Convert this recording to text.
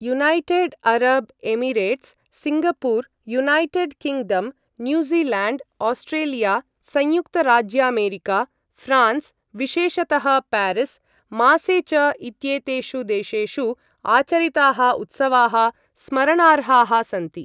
United Arab Emirates, Singapore, United Kingdom, New Zealand, Australia, संयुक्तराज्यामेरिका, France विशेषतः Paris, मासे च इत्येतेषु देशेषु आचरिताः उत्सवाः स्मरणार्हाः सन्ति।